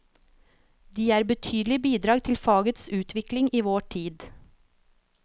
De er betydelige bidrag til fagets utvikling i vår tid.